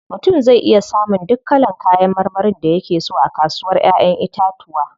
Mutum zai iya samun duk kalan kayan marmarin da yake so a kasuwar Ƴaƴan itatuwa.